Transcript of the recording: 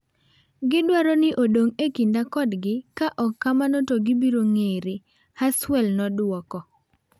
"gidwaro ni odong e kinda kodgi ka ok kamano to gibiro ng'ere ," Haswell noduoko.